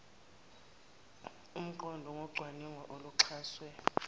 omqondo ngocwaningo oluxhaswe